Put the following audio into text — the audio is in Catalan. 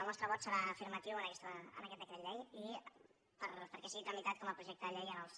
el nostre vot serà afirmatiu en aquest decret llei perquè sigui tramitat com a projecte de llei als